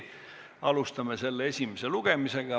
Alustame selle esimest lugemist.